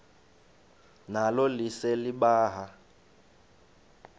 nalo lise libaha